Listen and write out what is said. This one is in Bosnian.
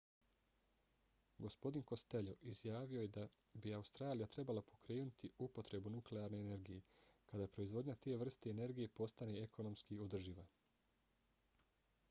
gospodin costello izjavio je da bi australija trebala pokrenuti upotrebu nuklearne energije kada proizvodnja te vrste energije postane ekonomski održiva